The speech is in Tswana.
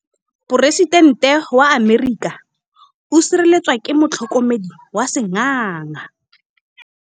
Poresitêntê wa Amerika o sireletswa ke motlhokomedi wa sengaga.